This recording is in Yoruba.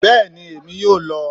Bẹ́ẹ̀ni, emi yóò lọ